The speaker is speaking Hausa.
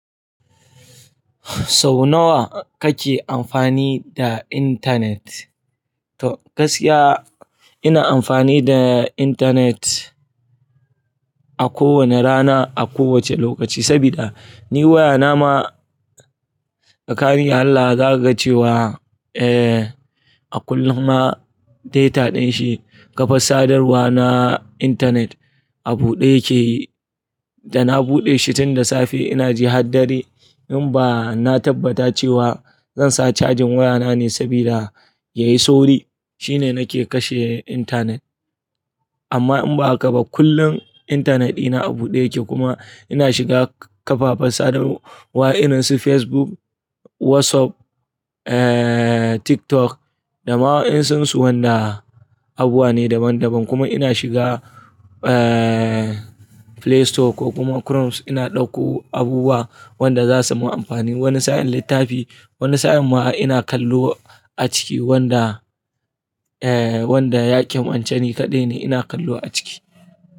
Sau nawa kake amfani da intanet? To gaskiya ina amfani da intanet a kowane rana, a kowace lokaci sabida ni waya na ma, tsakani da Allah zaka ga cewa eh a kullum ma data dashi kafar sadarwa na intanet a buɗe yake. Da na buɗe shi tun da safe ina ji har dare in ba na tabbata cewa zan sa cajin waya na ne sabida yayi sauri shine nake kashe intanet. Amma in ba haka ba kullum intanet ina a buɗe yake kuma ina shiga kafafen sadarwa irin su Facebook, WhatsApp, eh TikTok da ma wa in san su wanda abuwa ne daban daban kuma ina shiga eh Playstore ko kuma Chrome ina ɗauko abubuwa wanda za su mun amfani. Wani sa'in littafi, wani sa'in ma ina kallo a ciki wanda eh wanda ya kimance ni kaɗai ne ina kallo a ciki.